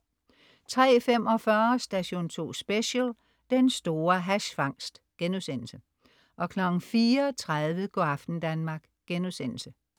03.45 Station 2 Special: Den store hash-fangst* 04.30 Go' aften Danmark*